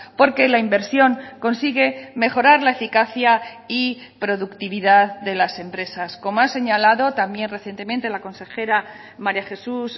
porque la inversión consigue mejorar la eficacia y productividad de las empresas como ha señalado también recientemente la consejera maría jesús